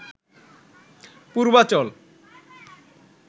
Purbachal